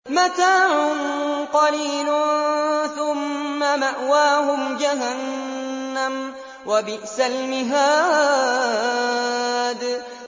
مَتَاعٌ قَلِيلٌ ثُمَّ مَأْوَاهُمْ جَهَنَّمُ ۚ وَبِئْسَ الْمِهَادُ